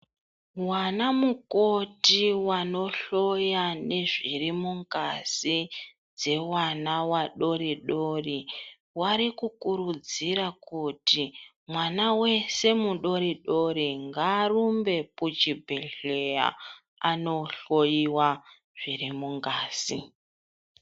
Vana mukoti vanohloya nezvirimungazi dzevana vadori dori vari kukuridzira kuti mwana weshe mudori dori ngaarumbe kuchibhedhleya andohloiwa zvirimo mungazi.